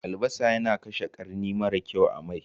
Albasa yana kashe ƙarni mara kyau a mai.